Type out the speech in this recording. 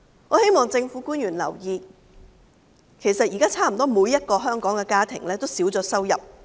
我希望政府官員留意，其實現在差不多每個香港家庭均已少了收入。